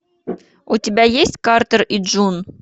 у тебя есть картер и джун